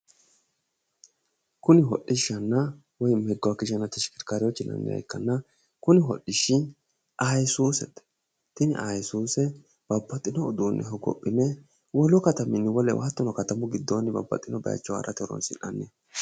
Kuni hodhishshanna woy meguwaageyanna teshikekkaariwoochi yinanniha ikkanna tini ayisuuzete tini ayisuuze babbaxxino uduunne hogophine wolu kataminni wolewa hattono katamu giddoonni babbaxxino bayiicho harate horonsi'nannite